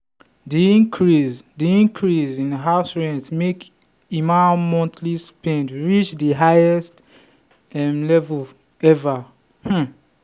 the increase the increase in house rent make emma monthly spend reach the highest um level ever. um